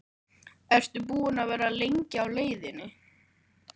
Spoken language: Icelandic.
Ertu búinn að vera lengi á leiðinni?